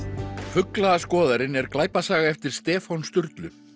fuglaskoðarinn er glæpasaga eftir Stefán Sturlu